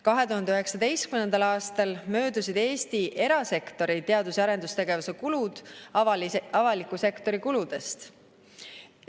2019. aastal möödusid Eesti erasektori teadus‑ ja arendustegevuse kulud avaliku sektori kuludest.